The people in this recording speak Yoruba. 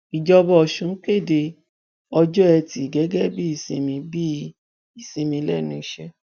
ìjọba ọsùn kéde ọjọ etí gẹgẹ bíi ìsinmi bíi ìsinmi lẹnu iṣẹ